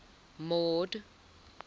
mord